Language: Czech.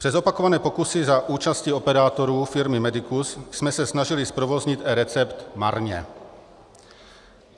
Přes opakované pokusy za účasti operátorů firmy Medicus jsme se snažili zprovoznit eRecept marně.